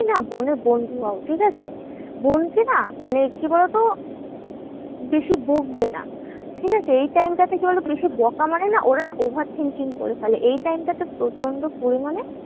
না বোনের বন্ধু হও, ঠিকাছে? বোনকে না মানে কি বলোতো? বেশি বকবে না, ঠিকাছে? এই time টা তে কি বলোতো? কাউকে বকা মানে না ওর একটা over thinking করে ফেলে। এই time টা তে প্রচন্ড পরিমানে